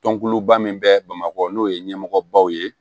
Tɔnkuluba min bɛ bamakɔ n'o ye ɲɛmɔgɔbaw ye